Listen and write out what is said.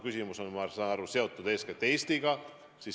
Küsimus on, ma saan aru, seotud eeskätt Eestiga.